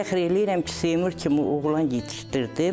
Fəxr eləyirəm ki, Seymur kimi oğlan yetişdirdim.